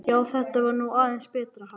Já, þetta var nú aðeins betra, ha!